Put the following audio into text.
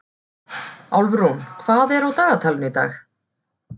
Álfrún, hvað er á dagatalinu í dag?